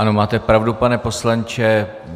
Ano, máte pravdu, pane poslanče.